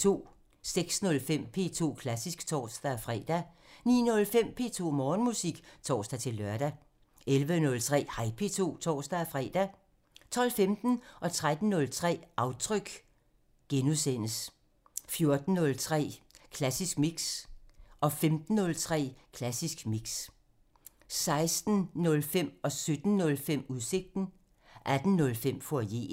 06:05: P2 Klassisk (tor-fre) 09:05: P2 Morgenmusik (tor-lør) 11:03: Hej P2 (tor-fre) 12:15: Aftryk (Afs. 43)* 13:03: Aftryk (Afs. 43)* 14:03: Klassisk Mix (Afs. 249) 15:03: Klassisk Mix (Afs. 249) 16:05: Udsigten (Afs. 224) 17:05: Udsigten (Afs. 224) 18:05: Foyeren (Afs. 89)